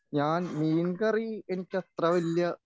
ഞാൻ മീൻ കറി എനിക്കത്ര വലിയ